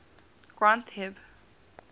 granth hib